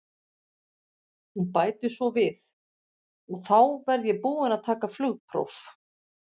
Hún bætir svo við: og þá verð ég búin að taka flugpróf.